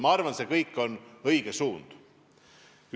Ma arvan, et see kõik on õige suund.